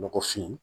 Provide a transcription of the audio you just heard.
Nɔgɔfin